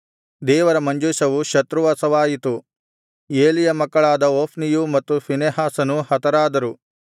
ದೇವರ ಮಂಜೂಷವು ಶತ್ರುವಶವಾಯಿತು ಏಲಿಯ ಮಕ್ಕಳಾದ ಹೊಫ್ನಿಯೂ ಮತ್ತು ಫೀನೆಹಾಸನೂ ಹತರಾದರು